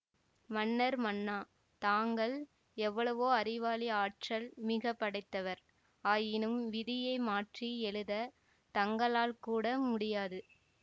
மன்னர் மன்னா தாங்கள் எவ்வளவோ அறிவாளி ஆற்றல் மிக படைத்தவர் ஆயினும் விதியை மாற்றி எழுதத் தங்களால் கூட முடியாது